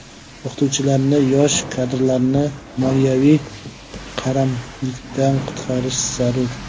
O‘qituvchilarni, yosh kadrlarni moliyaviy qaramlikdan qutqarish zarur.